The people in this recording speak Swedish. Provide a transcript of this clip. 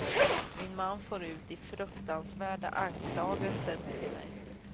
Min man for ut i fruktansvärda anklagelser mot mig.